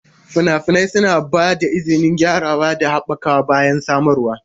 Fina-finai suna ba da izinin gyarawa da haɓakawa bayan samarwa.